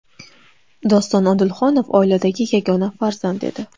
Doston Odilxonov oiladagi yagona farzand edi.